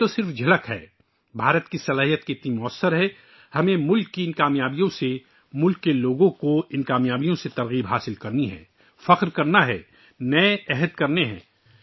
یہ صرف ایک جھلک ہے کہ ہندوستان کی صلاحیت کتنی مؤثر ہے ہمیں ملک کی ان کامیابیوں سے، ملک کے لوگوں کی ان حصول یابیوں سے تحریک لینی ہے، فخر کرنا ہے، نئے عہد لینے ہیں